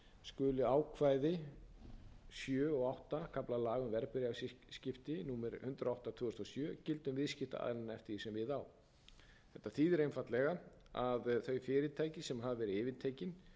skulu ákvæði í sjöunda og áttunda kafla laga um verðbréfaviðskipti númer hundrað og átta tvö þúsund og sjö gilda um viðskiptaaðila eftir því sem við á þetta þýðir einfaldlega að þau fyrirtæki sem hafa verið yfirtekin